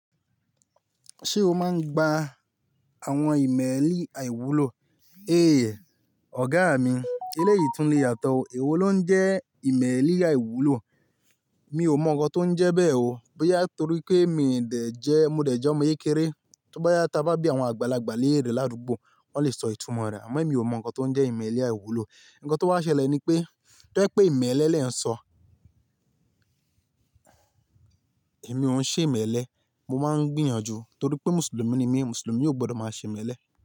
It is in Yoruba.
Ṣé o máa ń gba àwọn ìmẹ́lì àìwúlò? Éèyẹ, ọ̀gá mi eléyìí tún le yàtọ̀ o, èwo ló ń jẹ́ ìmẹ́lì àìwúlò? Mi ò mọ ohun tó ń jẹ́ bẹ́ẹ̀ o, bóyá torí pé mi ò dẹ̀ jẹ́, mo dẹ̀ jẹ́ ọmọ yékéré. Tí ó bá yá ta bá bí àwọn àgbàlagbà léèrè lárugbó, wọ́n lè sọ ìtumọ̀ rẹ̀, àmọ́ mi ò mọ ohun tó ń jẹ́ ìmẹ́lì àìwúlò. Ǹkan tó bá ṣẹlẹ̀ ni pé, tó ẹ pé ìmẹ́lẹ́ lẹ ń sọ, èmi ò ń ṣe ìmẹ́lẹ́, mo máa ń gbìyànjú torí pé Mùsùlùmí ni mí, Mùsùlùmí ò gbọdọ̀ máa ṣe ìmẹ́lẹ́